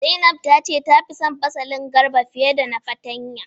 Zainab ta ce tafi son fasalin garba fiye da na fartanya.